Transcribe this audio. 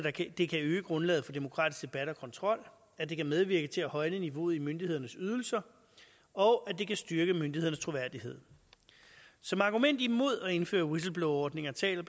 at det kan øge grundlaget for demokratisk debat og kontrol at det kan medvirke til at højne niveauet i myndighedernes ydelser og at det kan styrke myndighedernes troværdighed som argument imod at indføre whistleblowerordninger taler